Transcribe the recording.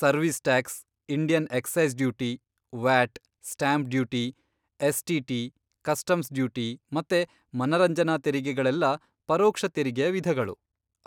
service tax, Indian excise duty, VAT, stamp duty, STT., customs duty, ಮತ್ತೆ ಮನರಂಜನಾ ತೆರಿಗೆಗಳೆಲ್ಲ ಪರೋಕ್ಷ ತೆರಿಗೆಯ ವಿಧಗಳು,